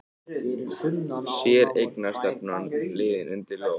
Séreignarstefnan liðin undir lok